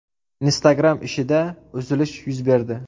Instagram ishida uzilish yuz berdi.